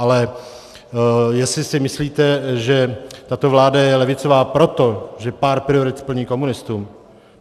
Ale jestli si myslíte, že tato vláda je levicová proto, že pár priorit splní komunistům?